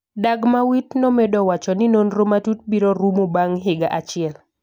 Dagmawit nomedo wacho ni nonro matut biro rumo bang’ higa achiel .